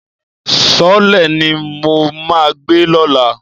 Sọ́ọ́lẹ̀ ni mo máa gbé lọ́la.